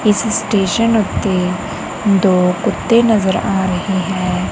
ਇਸ ਸਟੇਸ਼ਨ ਉੱਤੇ ਦੋ ਕੁੱਤੇ ਨਜ਼ਰ ਆ ਰਹੇ ਹੈ।